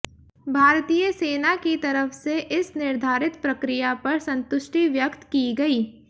भारतीय सेना की तरफ से इस निर्धारित प्रक्रिया पर संतुष्टि व्यक्त की गई